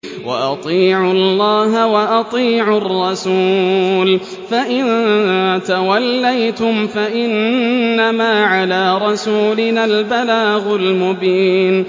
وَأَطِيعُوا اللَّهَ وَأَطِيعُوا الرَّسُولَ ۚ فَإِن تَوَلَّيْتُمْ فَإِنَّمَا عَلَىٰ رَسُولِنَا الْبَلَاغُ الْمُبِينُ